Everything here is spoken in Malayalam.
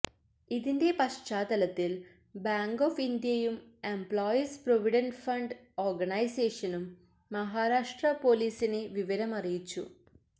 ഇതിന്റെ പശ്ചാത്തലത്തില് ബാങ്ക് ഓഫ് ഇന്ത്യയും എംപ്ലോയീസ് പ്രൊവിഡന്റ് ഫണ്ട് ഓര്ഗനൈസേഷനും മഹാരാഷ്ട്രാ പോലീസിനെ വിവരം അറിയിച്ചു